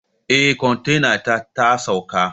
Eh kontainata tasauka